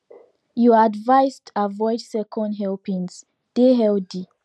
you advised avoid second helpings deh healthy